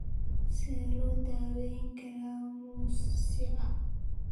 Sidee loo daweyn karaa mosaic trisomy sagal?